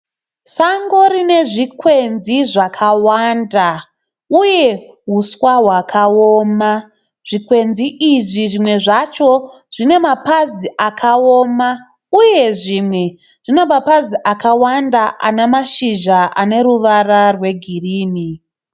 Sango rine zvikwenzi zvakawanda. Uye huswa hwakaoma. Zvikwenzi izvi zvimwe zvacho zvine mapazi akawoma uye zvimwe zvine mapazi akawanda ana mashizha aneruvara rwegirinhi.